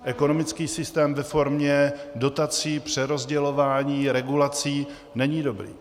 Ekonomický systém ve formě dotací, přerozdělování, regulací není dobrý.